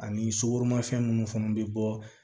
Ani sukoromafɛn munnu fɛnɛ be bɔ